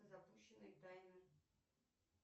запущенный таймер